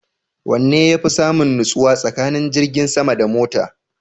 Wanne yafi samun nutsuwa tsakanin jirgin sama da mota?